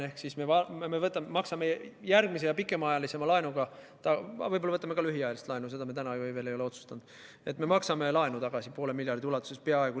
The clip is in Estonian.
Ehk siis me võtame järgmise, pikemaajalisema laenu – aga võib-olla võtame ka lühiajalist laenu, seda ei ole me täna veel otsustanud – ja maksame peaaegu poole miljardi ulatuses laenu tagasi.